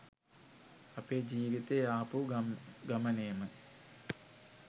අපේ ජීවිතයේ ආපු ගමනේම